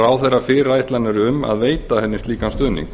ráðherra fyrirætlanir um að veita henni slíkan stuðning